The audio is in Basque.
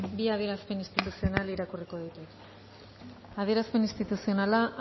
bi adierazpen instituzional irakurriko ditut adierazpen instituzionala